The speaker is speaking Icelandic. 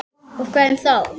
Og hverjum þá?